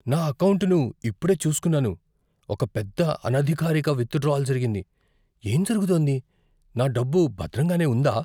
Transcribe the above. నా ఎకౌంటును ఇప్పుడే చూసుకున్నాను, ఒక పెద్ద, అనధికారిక విత్‌డ్రాయల్ జరిగింది. ఏం జరుగుతోంది? నా డబ్బు భద్రంగానే ఉందా?